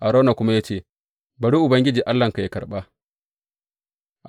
Arauna ya kuma ce, Bari Ubangiji Allahnka yă karɓa.